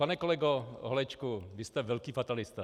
Pane kolego Holečku, vy jste velký fatalista.